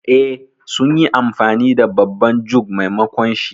Eh, sun yi amfani da babban jug maimakonshi.